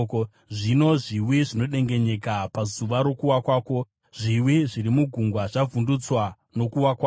Zvino zviwi zvinodengenyeka pazuva rokuwa kwako; zviwi zviri mugungwa zvavhundutswa nokuwa kwako.’